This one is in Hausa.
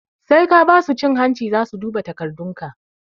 Sai ka basu cin hanci zasu duba takardun ka